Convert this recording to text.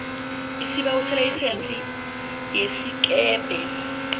isibawo selayisense yesikebhe